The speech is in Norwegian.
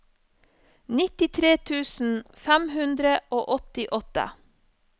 nittitre tusen fem hundre og åttiåtte